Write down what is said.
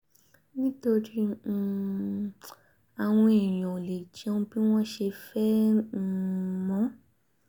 nítorí um àwọn èèyàn ò lè jẹun bí wọ́n ṣe fẹ́ um mọ̀